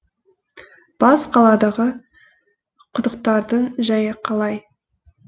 бас қаладағы құдықтардың жайы қалай